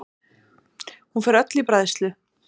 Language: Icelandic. Hún fer öll í bræðslu.